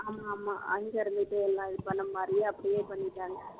ஆமா ஆமா அங்கே இருந்துட்டு எல்லாம் இது பண்ண மாதிரி அப்படியே பண்ணிட்டாங்க